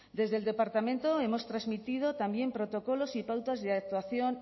desde el departamento hemos transmitido también protocolos y pautas de actuación